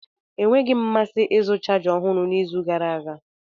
Enweghị m mmasị ịzụta chaja ọhụrụ n'izu gara aga.